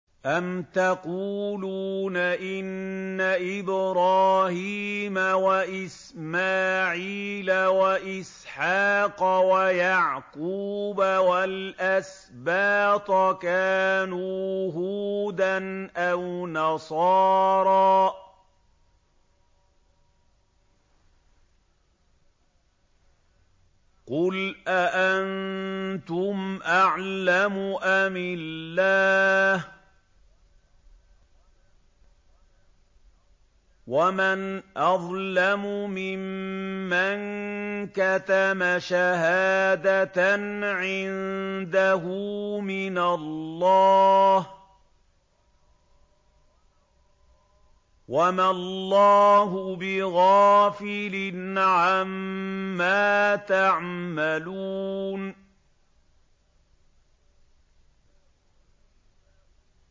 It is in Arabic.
أَمْ تَقُولُونَ إِنَّ إِبْرَاهِيمَ وَإِسْمَاعِيلَ وَإِسْحَاقَ وَيَعْقُوبَ وَالْأَسْبَاطَ كَانُوا هُودًا أَوْ نَصَارَىٰ ۗ قُلْ أَأَنتُمْ أَعْلَمُ أَمِ اللَّهُ ۗ وَمَنْ أَظْلَمُ مِمَّن كَتَمَ شَهَادَةً عِندَهُ مِنَ اللَّهِ ۗ وَمَا اللَّهُ بِغَافِلٍ عَمَّا تَعْمَلُونَ